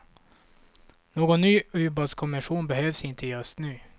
Någon ny ubåtskommission behövs inte just nu.